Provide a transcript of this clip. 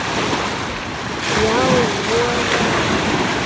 Já, voða erfitt.